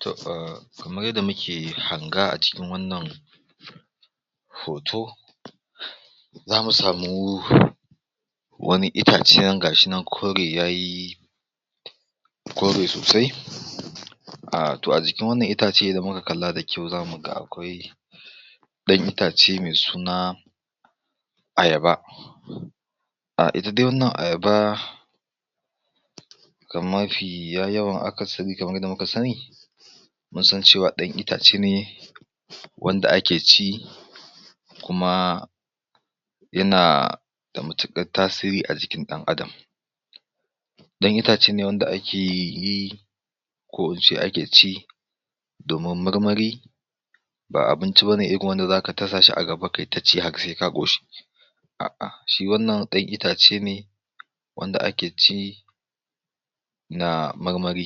To ah kamar yadda muke hanga a cikin wannan hoto, zamu samu wani itacen ga shi nan kore yayi, kore sosai, ahh to a jikin wannan itace idan muka kalla da kyau zamu ga akwai ɗan itace mai suna, Ayaba. Ahh ita dai wannan ayaba, ga mafiya yawa, akasari kamar yadda muka sani, mun san cewa ɗan itace ne, wanda ake ci, kuma yana da mutuƙar tasiri a jikin ɗan adam. ɗan itace ne wanda ake yi ko in ce ake ci, domin marmari, ba abinci bane irin wanda za ka ta sa shi a gaba haka sai ka ƙoshi a'a shi wannan ɗan itace ne wanda ake ci, na marmari.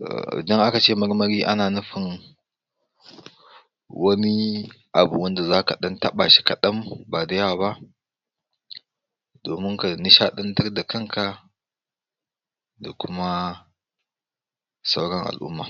To idan aka ce marmari ana nufin wani abu wanda za ka ɗan taɓa shi kaɗan ba da yawa ba, domin ka nishaɗantar da kanka, da kuma sauran al'umma.